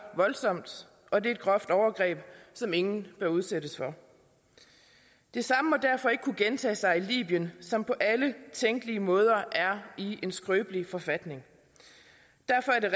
voldsomt og det er et groft overgreb som ingen bør udsættes for det samme må derfor ikke kunne gentage sig i libyen som på alle tænkelige måder er i en skrøbelig forfatning derfor er det